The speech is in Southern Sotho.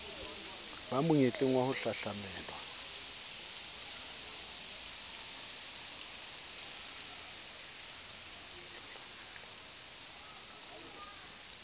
ba monyetleng wa ho hahlamelwa